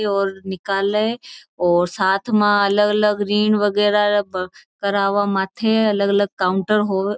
और निकाले और साथ में अलग अलग रीन बगैरा करावे माथे अलग अलग काउंटर होव।